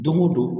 Don o don